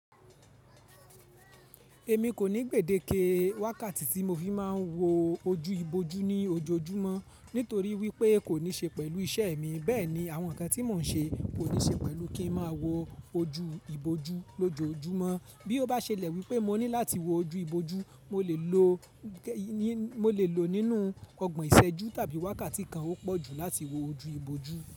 Èmi kò ní gbèdéke wákàtí tí mo fi máa ń wo ojú ibojú ní ojoojúmọ́ nítorí wípé kò ní ṣe pẹ̀lú iṣẹ́ mi. Bẹ́ẹ̀ ni àwọn ǹkan tí mò ń ṣe kò ní ṣe pẹ̀lú kí ń máa wo ojú ibojú lójoojúmọ́. Bí ó bá ṣẹlẹ̀ wípé mo ní láti wo ojú ibojú, mo lè lo, mo lè lò ó nínú ọgbọ̀n ìṣẹ́jú tàbí wákàtí kan ó pọ̀ jù láti wo ojú ibojú.